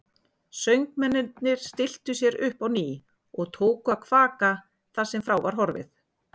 Söngmennirnir stilltu sér upp á ný og tóku að kvaka þar sem frá var horfið.